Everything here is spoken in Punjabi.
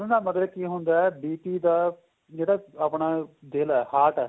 ਵੱਧਣ ਦਾ ਮਤਲਬ ਕੀ ਹੁੰਦਾ ਏ BP ਦਾ ਜਿਹੜਾ ਆਪਣਾ ਦਿਲ ਏ heart ਏ